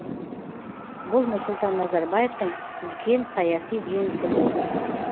бұл нұрсұлтан назарбаевтың үлкен саяси жеңісі болды